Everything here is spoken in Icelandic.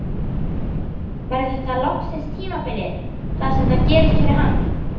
Verður þetta loksins tímabilið þar sem það gerist fyrir hann?